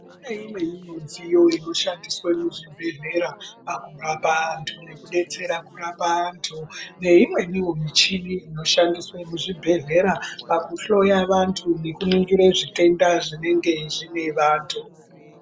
Kune imweni midziyo inoshandiswa mu zvibhedhlera pakurapa antu neku detsera kurapa antu ne imweniwo michini ino shandiswa mu zvibhedhlera paku hloya vantu neku ningire zvitenda zvinenge zvine antu.